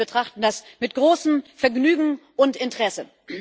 Wir betrachten das mit großem Vergnügen und Interesse.